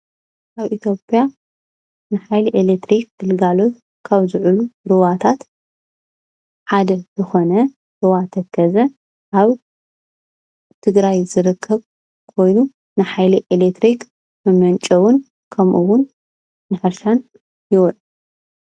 አብ እትዮጵያ ንሓይሊ ኤሌክትሪክ ግልጋሎት ካብ ዝውዕሉ ሩባታት ሓደ ዝኮነ ሩባ ተከዘ አብ ትግራይ ዝርከብ ኮይኑ ንሓይሊ ኤሌክትሪክ መመንጨውን ከምኡ እውን ንሕርሻን ይውዕል።